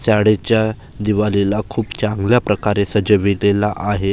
शाळेच्या दिवालीला खूप चांगल्या प्रकारे सजवलेलं आहे.